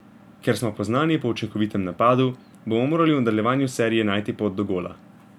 Ker smo poznani po učinkovitem napadu, bomo morali v nadaljevanju serije najti pot do gola.